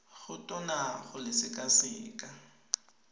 go tona go le sekaseka